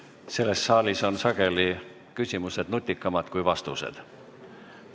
Selles saalis on sageli küsimused nutikamad kui vastused.